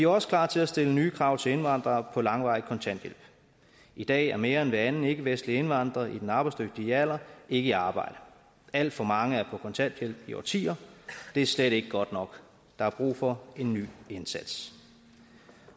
også klar til at stille nye krav til indvandrere på langvarig kontanthjælp i dag er mere end hver anden ikkevestlig indvandrer i den arbejdsdygtige alder ikke i arbejde alt for mange er på kontanthjælp i årtier og det er slet ikke godt nok der er brug for en ny indsats